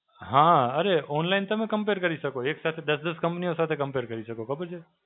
હાં અરે online તમે compare કરી શકો. એક સાથે દસ દસ companies સાથે compare કરી શકો. ખબર છે?